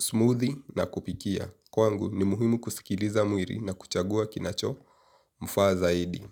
smoothie na kupikia kwangu ni muhimu kusikiliza mwili na kuchagua kinachofaa zaidi.